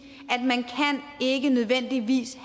at man ikke nødvendigvis